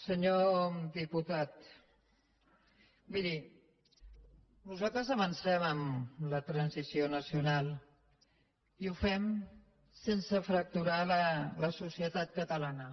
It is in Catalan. senyor diputat miri nosaltres avancem en la transició nacional i ho fem sense fracturar la societat catalana